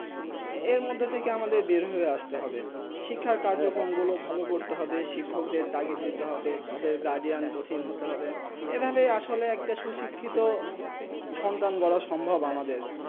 এর মদদে থেকে আমাদের বের হয়ে আস্তে হবে শিক্ষা কাজ কর্ম ভালো করতে হবে শিক্ষক দের তাকি দিতে হবে তাদের গার্জিয়ান কঠিন হতে হবে এই ভাবে আসলে একটা সুষিক্ষেত সন্তান করা আমাদের